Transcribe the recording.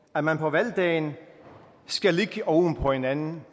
at man på valgdagen skal ligge oven på hinanden